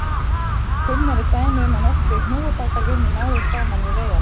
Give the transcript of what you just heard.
Kunn eru dæmi um að nokkrir hnúfubakar vinni náið saman við veiðarnar.